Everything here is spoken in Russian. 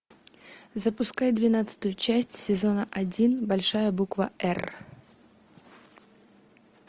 запускай двенадцатую часть сезона один большая буква р